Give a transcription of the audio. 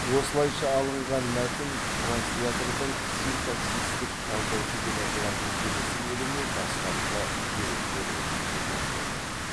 осылауша алынған мәтін транслятордың синтаксистік талдаушы деп аталатын келесі бөліміне бастапқы деректер ретінде беріледі